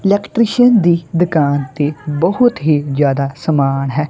Electrician ਦੀ ਦੁਕਾਨ ਤੇ ਬਹੁਤ ਹੀ ਜਿਆਦਾ ਸਮਾਨ ਹੈ।